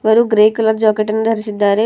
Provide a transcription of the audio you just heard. ಅವರು grey colour jacket ಅನ್ನು ಧರಿಸಿದ್ದಾರೆ.